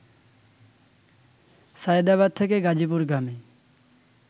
সায়েদাবাদ থেকে গাজীপুরগামী